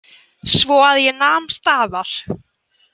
Svo að ég nam staðar.